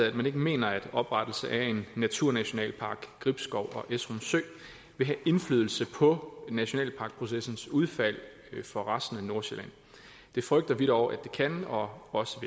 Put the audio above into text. at man ikke mener at oprettelse af naturnationalpark gribskov esrum sø vil have indflydelse på nationalparkprocessens udfald for resten af nordsjælland det frygter vi dog det kan og også